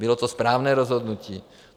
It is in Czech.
Bylo to správné rozhodnutí.